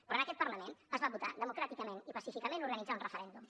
però en aquest parlament es va votar democràticament i pacíficament organitzar un referèndum